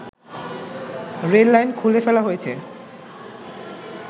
rail line খুলে ফেলা হয়েছে